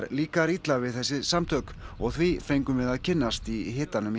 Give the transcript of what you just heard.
líkar illa við þessi samtök og því fengum við að kynnast í hitanum í